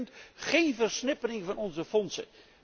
Tweede punt geen versnippering van onze fondsen.